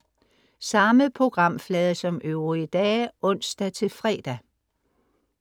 Samme programflade som øvrige dage (ons-fre)